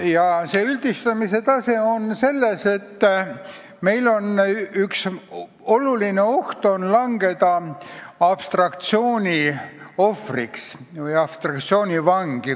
Ja see üldistatuse tase tähendab seda, et meil on oht langeda abstraktsiooni ohvriks või abstraktsiooni vangi.